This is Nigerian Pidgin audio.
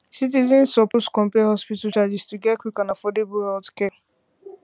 citizens suppose compare hospital charges to get quick and affordable healthcare